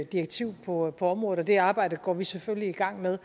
direktiv på området og det arbejde går vi selvfølgelig i gang med